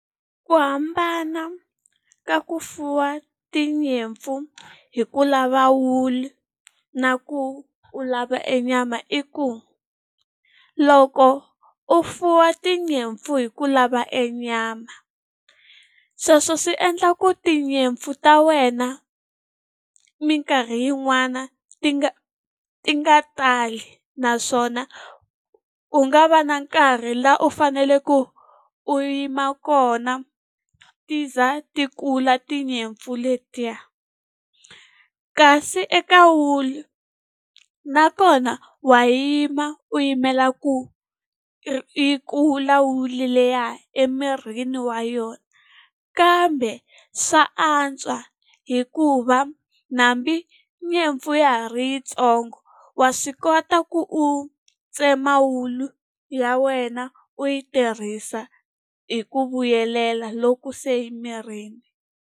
Ku hambana ka ku fuwa tinyimpfu hi ku lava wulu na ku u lava e nyama i ku, loko u fuwa tinyimpfu hi ku lava e nyama, sweswo swi endla ku tinyimpfu ta wena minkarhi yin'wana ti nga ti nga tali. Naswona ku nga va na nkarhi laha u faneleke ku u yima kona ti za ti kula tinyimpfu letiya. Kasi eka wulu nakona wa yima u yimela ku yi kula wulu liya emirini wa yona. Kambe swa antswa hikuva hambi nyimpfu ya ha ri yintsongo wa swi kota ku u tsema wulu ya wena u yi tirhisa hi ku vuyelela loku se yi mirini.